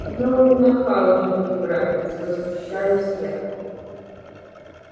ну и нахал же ты братец возмущаюсь я